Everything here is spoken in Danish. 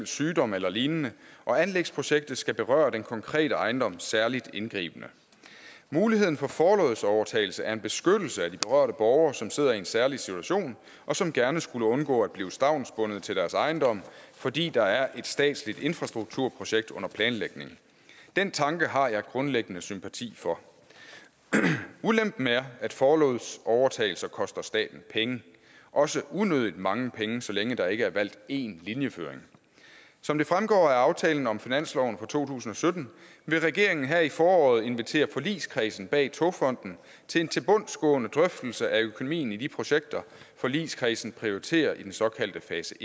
sygdom eller lignende og anlægsprojektet skal berøre den konkrete ejendom særlig indgribende muligheden for forlods overtagelse er en beskyttelse af de berørte borgere som sidder i en særlig situation og som gerne skulle undgå at blive stavnsbundet til deres ejendom fordi der er et statsligt infrastrukturprojekt under planlægning den tanke har jeg grundlæggende sympati for ulempen er at forlods overtagelser koster staten penge også unødig mange penge så længe der ikke er valgt én linjeføring som det fremgår af aftalen om finansloven for to tusind og sytten vil regeringen her i foråret invitere forligskredsen bag togfonden til en tilbundsgående drøftelse af økonomien i de projekter forligskredsen prioriterer i den såkaldte fase